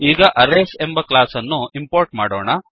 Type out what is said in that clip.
ಈಗ ಅರೇಸ್ ಎಂಬ ಕ್ಲಾಸ್ ಅನ್ನು ಇಂಪೋರ್ಟ್ ಮಾಡೋಣ